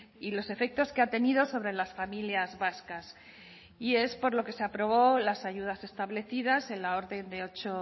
y los efectos que ha tenido sobre las familias vascas y es por lo que se aprobó las ayudas establecidas en la orden de ocho